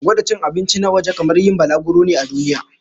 Gwada cin abinci na waje kamar yin balaguro ne a duniya.